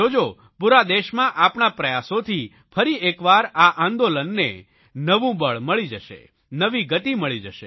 જો જો પૂરા દેશમાં આપણા પ્રયાસોથી ફરી એકવાર આ આંદોલનને નવું બળ મળી જશે નવી ગતિ મળી જશે